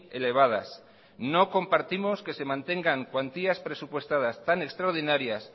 elevadas no compartimos que se mantengan cuantías presupuestadas tan extraordinarias